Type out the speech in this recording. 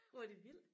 Hvor er det vildt